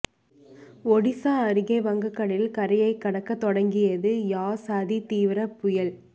ஒடிசா அருகே வங்கக்கடலில் கரையை கடக்க தொடங்கியது யாஸ் அதி தீவிர புயல்